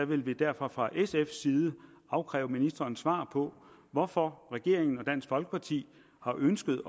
vil vi derfor fra sfs side afkræve ministeren svar på hvorfor regeringen og dansk folkeparti har ønsket